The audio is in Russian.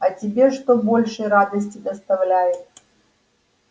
а тебе что больше радости доставляет